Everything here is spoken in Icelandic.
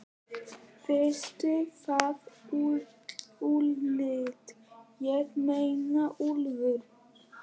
Veistu það, Úlli, ég meina Úlfur.